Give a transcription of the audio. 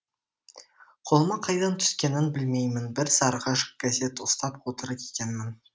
қолыма қайдан түскенін білмеймін бір сарғыш газет ұстап отыр екенмін